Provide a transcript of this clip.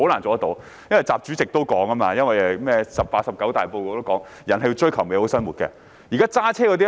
正如習主席在十八大或十九大報告也提出，人是追求美好生活的。